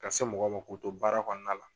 Ka se mɔgɔ ma k'u to baara kɔnɔna la.